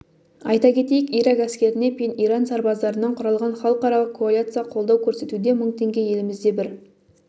айта кетейік ирак әскеріне пен иран сарбаздарынан құралған халықаралық коалиция қолдау көрсетуде мың теңге елімізде бір